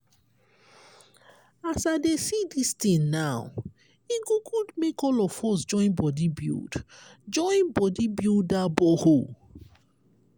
as i dey see dis tin now e go good make all of us join body build join body build dat borehole.